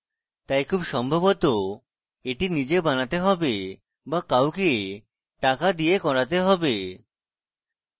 তাই খুব সম্ভবত এটি নিজে বানাতে have but কাউকে টাকা দিয়ে বানাতে have